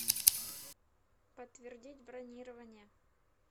подтвердить бронирование